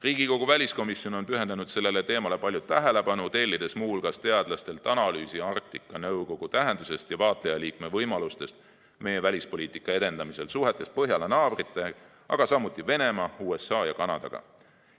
Riigikogu väliskomisjon on pühendanud sellele teemale palju tähelepanu, tellides muu hulgas teadlastelt analüüsi Arktika Nõukogu tähendusest ja vaatlejaliikme võimalustest meie välispoliitika edendamisel suhetes Põhjala naabrite, aga samuti Venemaa, USA ja Kanadaga.